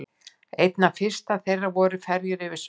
Einna fyrstar þeirra voru ferjur fyrir sveppi.